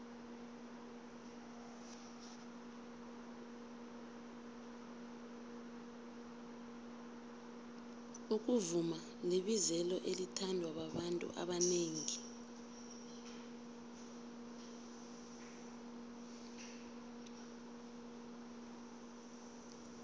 ukuvuma libizelo elithandwa babantu abanengi